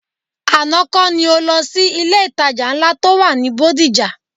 Àná kọ́ ni o lọ sí ilé-ìtajà ńlá tó wà ní Bódìjà?